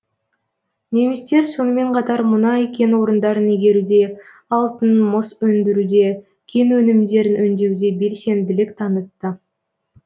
немістер сонымен қатар мұнай кен орындарын игеруде алтын мыс өндіруде кен өнімдерін өндеуде белсенділік танытты